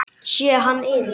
Sé hann yfir